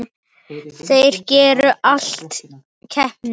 Þeir gerðu allt að keppni.